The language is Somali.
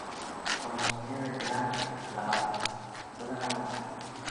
Koromosoomyada giraanta labatan badanaa lama dhaxlo.